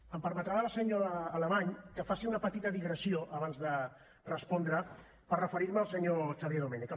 em permetrà la senyora alemany que faci una petita digressió abans de respondre per referir me al senyor xavier domènech